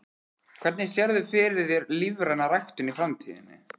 Hvernig sérðu fyrir þér lífræna ræktun í framtíðinni?